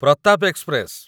Pratap express